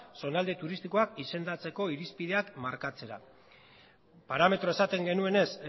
zonalde turistikoa izendatzeko irizpideak markatzera parametro esaten genuenez